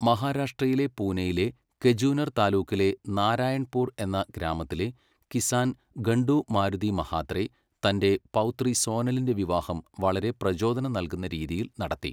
മഹാരാഷ്ട്രയിലെ പൂനയിലെ കെജൂനർ താലൂക്കിലെ നാരായൺപുർ എന്ന ഗ്രാമത്തിലെ കിസാൻ ഘംഡു മാരുതി മഹാത്രെ തൻ്റെ പൗത്രി സോനലിൻ്റെ വിവാഹം വളരെ പ്രചോദനം നല്കുന്ന രീതിയിൽ നടത്തി.